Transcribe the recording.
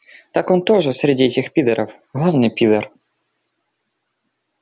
так он тоже среди этих пидоров главный пидор